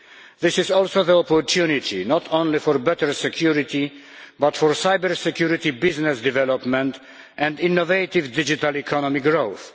This is also the opportunity not only for better security, but for cyber security business development and innovative digital economic growth.